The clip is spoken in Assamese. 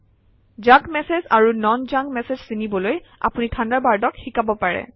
জাংক মেচেজ আৰু নন জাংক মেচেজ চিনিবলৈ আপুনি থাণ্ডাৰবাৰ্ডক শিকাব পাৰে